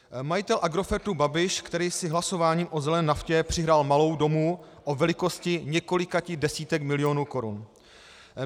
Majitel Agrofertu Babiš, který si hlasováním o zelené naftě přihrál malou domů o velikosti několika desítek milionů korun.